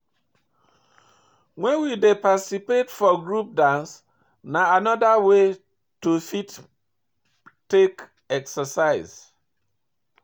when we dey participate for group dance na anoda way to fit take exercise